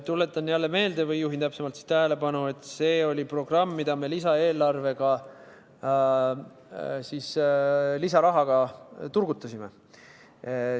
Tuletan jälle meelde või juhin tähelepanu, et see oli programm, mida me lisaeelarvega, lisarahaga turgutasime.